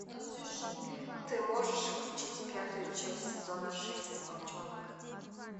ты можешь включить пятую часть сезона шесть волчонок